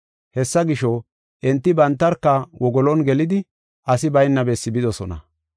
Hessa gisho, enti bantarka wogolon gelidi asi bayna bessi bidosona.